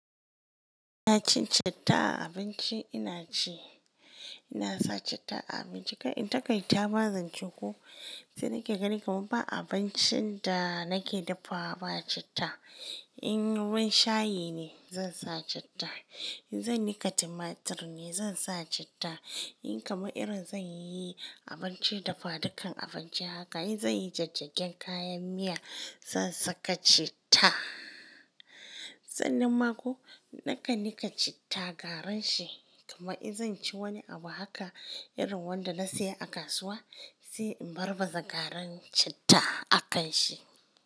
Ina cin citta a abinci? Ina ci. Ina sa citta a abinci, kai in takaita ma zance ko. Sai nake ganin kamar ba abincin da nake dafawa ba citta. In ruwan shayi ne zan sa citta, in zan nika timatir ne zan sa citta, in kamar irin zan yi abinci dafadukan abinci haka, in zan yi jijjigen kayan miya zan saka citta. Sasnan mako nakan nika citta garin shi. Kamar in zan ci wani abu haka, irin wanda na saya a kasuwa sai in barbaza garin citta a kan shi.